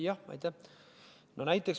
Jah, aitäh!